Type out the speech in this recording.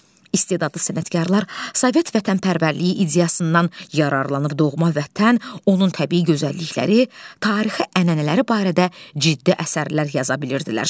İstedadı sənətkarlar Sovet vətənpərvərliyi ideyasından yararlanıb doğma Vətən, onun təbii gözəllikləri, tarixi ənənələri barədə ciddi əsərlər yaza bilirdilər.